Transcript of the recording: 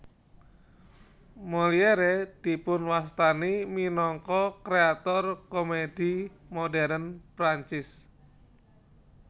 Molière dipunwastani minangka kréator komèdi modern Prancis